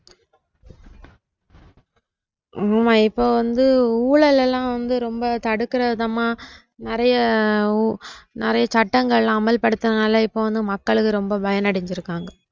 ஆமா இப்ப வந்து ஊழல் எல்லாம் வந்து ரொம்ப தடுக்குற விதமா நிறைய நிறைய சட்டங்கள் அமல்படுத்துனதுனால இப்ப வந்து மக்கள ரொம்ப பயனடைஞ்சிருக்காங்க